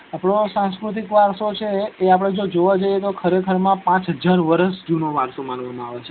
આપડો સાંસ્કૃતિક વારસો છે એ આપડે જો જોવા જઈએ તો ખરેખરમાં પાંચ હજાર વર્ષ જુનો વારસો માનવા માં આવે છે